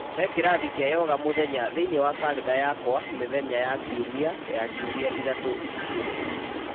He kĩrathi kĩa yoga mũthenya thĩinĩ wa karenda yakwa mĩthenya ya kiumia ya ciumia ithatũ ici ciũkĩte